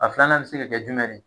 A filanan bɛ se ka kɛ jumɛn ri.